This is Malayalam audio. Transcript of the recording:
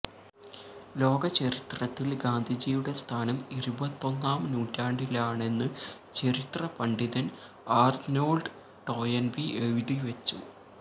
ലോകചരിത്രത്തില് ഗാന്ധിജിയുടെ സ്ഥാനം ഇരുപത്തൊന്നാം നൂറ്റാണ്ടിലാണെന്ന് ചരിത്ര പണ്ഡിതന് ആര്നോള്ഡ് ടോയന്ബി എഴുതിവച്ചു